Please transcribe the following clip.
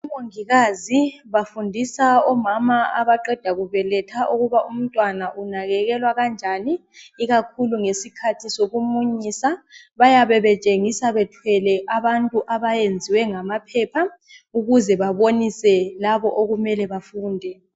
Omongikazi bafundisa omama abaqeda kubeletha ukuba umntwana unakekelwa kanjani ikakhulu ngesikhathi sokumunyisa. Bayabe betshengisa bethwele abantu abayenzwe ngamaphepha ukuze babonise labo okumele bafunde.